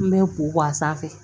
N bɛ ko a sanfɛ